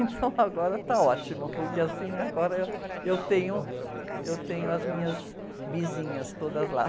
Então agora tá ótimo, porque assim, agora eu tenho, eu tenho as minhas bizinhas todas lá.